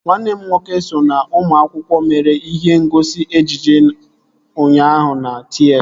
Nwanne m nwoke so na ụmụ akwụkwọ mere ihe ngosi ejije ụnyaahụ na tịyeta